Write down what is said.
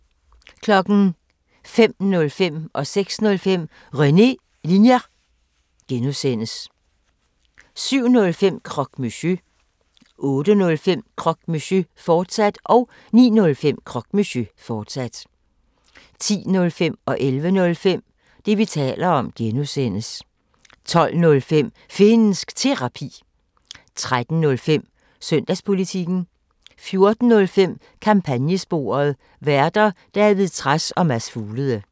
05:05: René Linjer (G) 06:05: René Linjer (G) 07:05: Croque Monsieur 08:05: Croque Monsieur, fortsat 09:05: Croque Monsieur, fortsat 10:05: Det, vi taler om (G) 11:05: Det, vi taler om (G) 12:05: Finnsk Terapi 13:05: Søndagspolitikken 14:05: Kampagnesporet: Værter: David Trads og Mads Fuglede